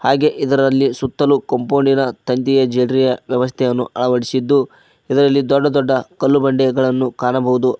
ಹಾಗೆ ಇದರಲ್ಲಿ ಸುತ್ತಲು ಕಾಂಪೌಂಡಿನ ತಂತಿಯ ಜೇಡರಿಯ ವ್ಯವಸ್ಥೆಯನ್ನು ಅಳವಡಿಸಿದ್ದು ಇದರಲ್ಲಿ ದೊಡ್ಡ ದೊಡ್ದ ಕಲ್ಲು ಬಂಡೆಗಳನ್ನು ಕಾಣಬೋದು.